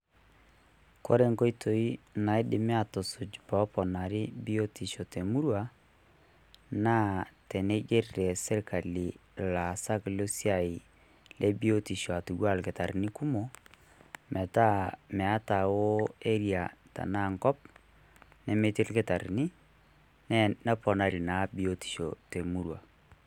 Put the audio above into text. Ore enkoitoi naidimi aatusuj' pee eponari biotisho te murua naa teneigerr sirkali ilaasak Le siai loopua aa ilkitarrini kumok metaa hoo Area tenaa Enkop nemetii ilkitarrini neponari naa biotisho te murua.